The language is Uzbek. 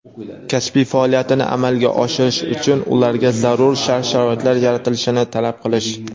kasbiy faoliyatini amalga oshirish uchun ularga zarur shart-sharoitlar yaratilishini talab qilish;.